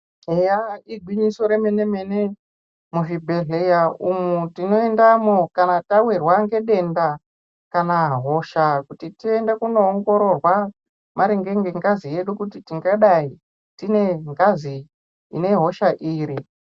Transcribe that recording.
Eya igwinyiso remenemene muzvibhedhlera umu tonoendamo kana tawirwa ngedenda kana hosha kuti tiende kunoongororwa maringe nengazi yedu kuti tingadai tiine ngazi inehosha iri .